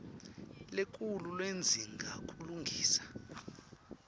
lenkhulu ledzinga kulungiswa